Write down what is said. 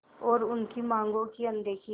और उनकी मांगों की अनदेखी